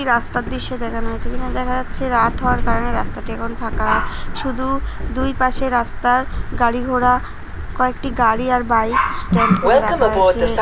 একটি রাস্তার দৃশ্য দেখানো হয়েছে | যেখানে দেখা যাচ্ছে রাত হওয়ার কারণে রাস্তাটি এখন ফাঁকা | শুধু দুই পাশে রাস্তার গাড়ি ঘোড়া কয়েকটি গাড়ি আর বাইক স্ট্যান্ড করে রাখা হয়েছে।